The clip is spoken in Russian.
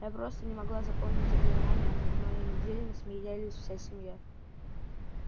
я просто не могла запомнить заклинания а над моими зельями смеялась вся семья